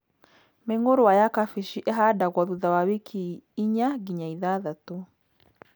Mĩngũrwa ya kabici ĩhandagwo thutha wa wiki inya nginya ithathatũ.